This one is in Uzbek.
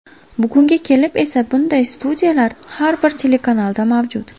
Bugunga kelib esa bunday studiyalar har bir telekanalda mavjud.